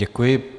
Děkuji.